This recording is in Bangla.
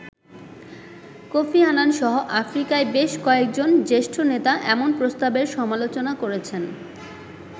কোফি আনান সহ আফ্রিকার বেশ কয়েকজন জ্যেষ্ঠ নেতা এমন প্রস্তাবের সমালোচনা করেছেন।